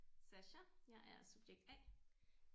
Sasha jeg er subjekt A